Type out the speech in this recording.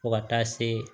Fo ka taa se